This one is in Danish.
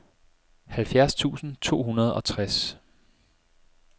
halvfjerds tusind to hundrede og tres